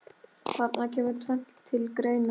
Þarna kemur tvennt til greina.